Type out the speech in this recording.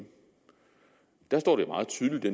der står det meget tydeligt i